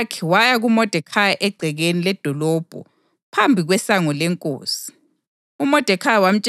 Ngakho uHathakhi waya kuModekhayi egcekeni ledolobho phambi kwesango lenkosi.